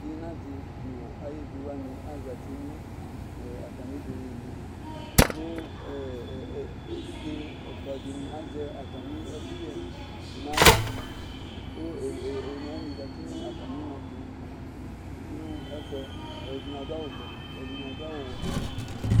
ina di no ayi evi wani azati no atami udunu ne kò evidze ɛfua di ni azɛ atami ɛkuyɛ n'ala kò one wani zati no atami na to no ɛfu yɛ ɛdini adu awu vɛ ɛdini adu awu wɛ